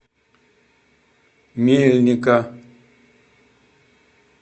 мельника